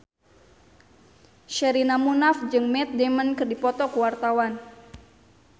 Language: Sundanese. Sherina Munaf jeung Matt Damon keur dipoto ku wartawan